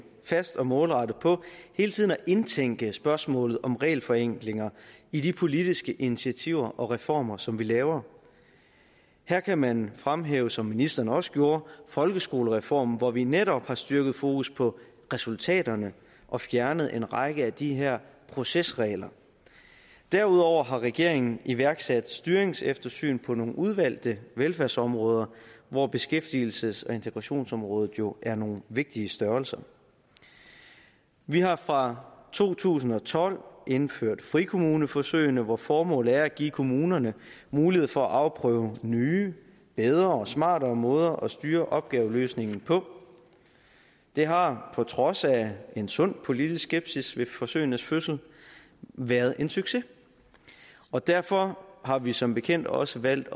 fast og målrettet på hele tiden at indtænke spørgsmålet om regelforenklinger i de politiske initiativer og reformer som vi laver her kan man fremhæve som ministeren også gjorde folkeskolereformen hvor vi netop har styrket fokus på resultaterne og fjernet en række af de her procesregler derudover har regeringen iværksat styringseftersyn på nogle udvalgte velfærdsområder hvor beskæftigelses og integrationsområdet jo er nogle vigtige størrelser vi har fra to tusind og tolv indført frikommuneforsøgene hvor formålet er at give kommunerne mulighed for at afprøve nye bedre og smartere måder at styre opgaveløsningen på det har på trods af en sund politisk skepsis ved forsøgenes fødsel været en succes og derfor har vi som bekendt også valgt